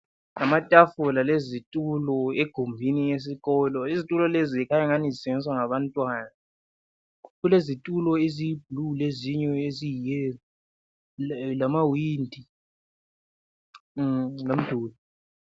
Ngamatafula lezitulo egumbini lesikolo. Izitulo lezi zikhany angathi zisetshenziswa ngabantwana. Kulezitulo eziyiblue lezinye eziyiyellow, lamawindi lomduli.